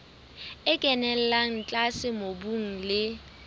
e kenella tlase mobung le